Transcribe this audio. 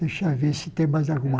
Deixa eu ver se tem mais alguma